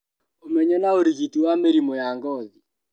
Ũmenyo na ũrigiti wa mĩrimũ ya ngothi